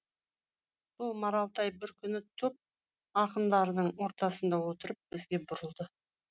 сол маралтай бір күні топ ақындардың ортасында отырып бізге бұрылды